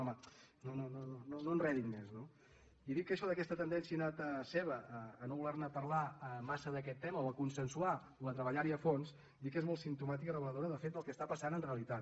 home no enredin més no i dic això d’aquesta tendència innata seva de no voler parlar massa d’aquest tema o a consensuar o a treballar·hi a fons dic que és molt simptomàtica i reveladora de fet del que està passant en realitat